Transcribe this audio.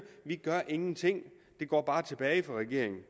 vi gør ingenting det går bare tilbage for regeringen